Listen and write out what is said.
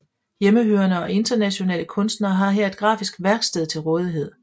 Hjemmehørende og internationale kunstnere har her et grafisk værksted til rådighed